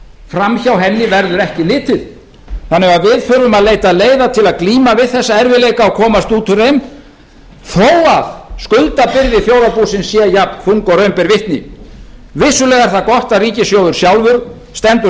fram hjá henni verður ekki litið þannig að við þurfum að leita leiða til að glíma við þessa erfiðleika og komast út úr þeim þó að skuldabyrði þjóðarbúsins sé jafnþung og raun ber vitni vissulega er það gott að ríkissjóður sjálfur stendur